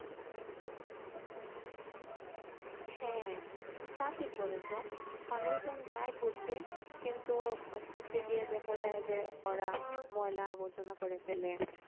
হ্যাঁ তা ঠিক বলেছ । মানুষজন যায় ঘুরতে কিন্তু ঘুরতে গিয়ে দেখা যায় যে ওরা ময়লা-আবর্জনা করে ফেলে।